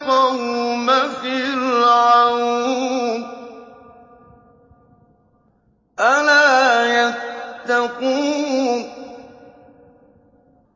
قَوْمَ فِرْعَوْنَ ۚ أَلَا يَتَّقُونَ